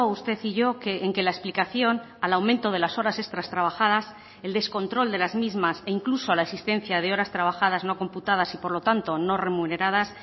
usted y yo en que la explicación al aumento de las horas extras trabajadas el descontrol de las mismas e incluso a la existencia de horas trabajadas no computadas y por lo tanto no remuneradas